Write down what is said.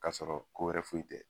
Ka sɔrɔ ko wɛrɛ foyi tɛ.